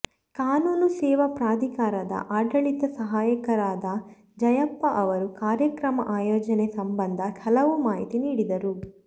ಕಾನೂನು ಸೇವಾ ಪ್ರಾಧಿಕಾರದ ಆಡಳಿತ ಸಹಾಯಕರಾದ ಜಯಪ್ಪ ಅವರು ಕಾರ್ಯಕ್ರಮ ಆಯೋಜನೆ ಸಂಬಂಧ ಹಲವು ಮಾಹಿತಿ ನೀಡಿದರು